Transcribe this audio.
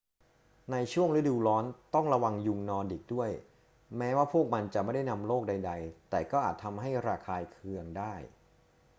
ในช่วงฤดูร้อนต้องระวังยุงนอร์ดิกด้วย แม้ว่าพวกมันจะไม่ได้นำโรคใด ๆ แต่ก็อาจทำให้ระคายเคืองได้